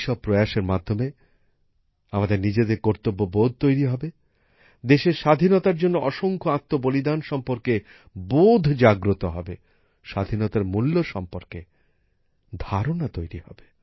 এইসব প্রয়াসের মাধ্যমে আমাদের নিজেদের কর্তব্যবোধ তৈরী হবে দেশের স্বাধীনতার জন্য অসংখ্য আত্মবলিদান সম্পর্কে বোধ জাগ্রত হবে স্বাধীনতার মূল্য সম্পর্কে ধারণা তৈরী হবে